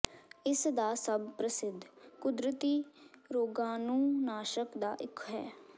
ਇਸ ਦਾ ਸਭ ਪ੍ਰਸਿੱਧ ਕੁਦਰਤੀ ਰੋਗਾਣੂਨਾਸ਼ਕ ਦਾ ਇੱਕ ਹੈ